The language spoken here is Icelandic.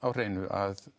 hreinu að